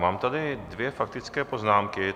Mám tady dvě faktické poznámky.